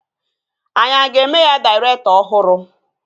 Anyị a ga-eme ya dairektọ ọhụrụ?